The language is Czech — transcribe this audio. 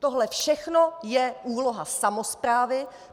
Tohle všechno je úloha samosprávy.